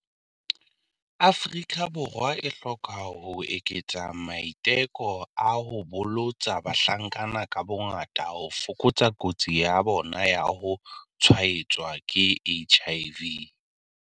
Afrika Borwa e hloka ho eketsa maiteko a ho bolotsa bahlankana ka bongaka ho fokotsa kotsi ya bona ya ho tshwaetswa ke HIV.